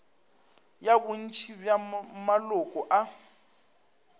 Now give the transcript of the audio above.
ya bontši bja maloko a